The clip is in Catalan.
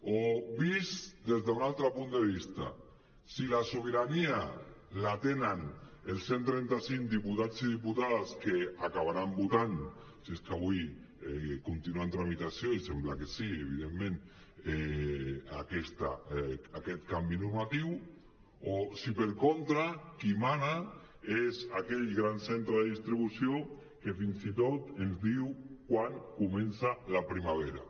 o vist des d’un altre punt de vista si la sobirania la tenen els cent trenta·cinc diputats i dipu·tades que acabaran votant si és que avui continua en tramitació i sembla que sí evidentment aquest canvi normatiu o si per contra qui mana és aquell gran centre de distribució que fins i tot ens diu quan comença la primavera